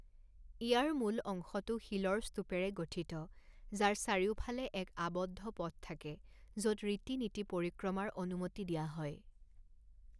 ইয়াৰ মূল অংশটো শিলৰ স্তূপেৰে গঠিত যাৰ চাৰিওফালে এক আৱদ্ধ পথ থাকে য'ত ৰীতি নীতি পৰিক্ৰমাৰ অনুমতি দিয়া হয়।